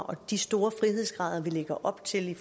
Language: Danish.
og de store frihedsgrader vi lægger op til i